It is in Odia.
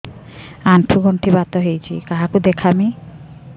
ଆଣ୍ଠୁ ଗଣ୍ଠି ବାତ ହେଇଚି କାହାକୁ ଦେଖାମି